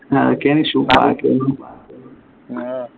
അതൊക്കെയാണ് issue ബാക്കിയൊന്നും